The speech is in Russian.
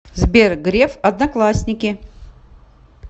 сбер греф одноклассники